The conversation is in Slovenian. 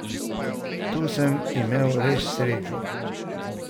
Tu sem imel res srečo.